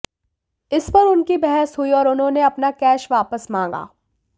इस पर उनकी बहस हुई और उन्होंने अपना कैश वापस मांगा